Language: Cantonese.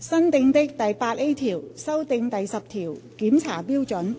新訂的第 8A 條修訂第10條。